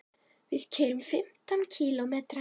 Við keyrum fimmtán kílómetra.